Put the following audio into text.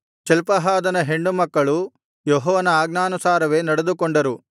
ಚಲ್ಪಹಾದನ ಹೆಣ್ಣುಮಕ್ಕಳು ಯೆಹೋವನ ಆಜ್ಞಾನುಸಾರವೇ ನಡೆದುಕೊಂಡರು